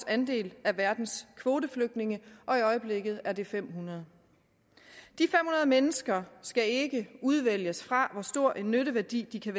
andel af verdens kvoteflygtninge og i øjeblikket er det fem hundrede mennesker skal ikke udvælges ud fra hvor stor en nytteværdi de kan